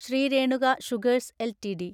Shri Renuka Sugars LTD